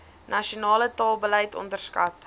nasionale taalbeleid onderskat